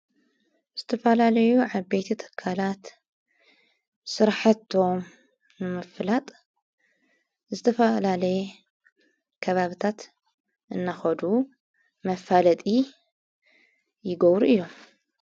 ዝተፈላለዩ ዓ በይቲ ተካላት ሠራሐቶ መፍላጥ ዝተፍላለየ ከባብታት እናኸዱ መፋለጢ ይጐብሩ እዮም።